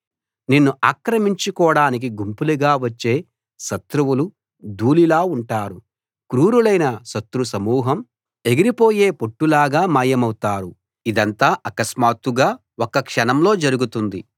నిన్ను ఆక్రమించుకోడానికి గుంపులుగా వచ్చే శత్రువులు ధూళిలా ఉంటారు క్రూరులైన శత్రు సమూహం ఎగిరిపోయే పొట్టులాగా మాయమౌతారు ఇదంతా అకస్మాత్తుగా ఒక్క క్షణంలో జరుగుతుంది